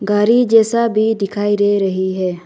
गाड़ी जैसा भी दिखाई दे रही है।